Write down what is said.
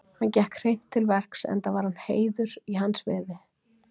Hann gekk hreint til verks enda var heiður hans í veði.